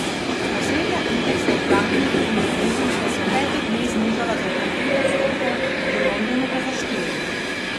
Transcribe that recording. Osrednja indeksa v Frankfurtu in Parizu sta se v petih dneh znižala za okrog pet odstotkov, v Londonu pa za štiri.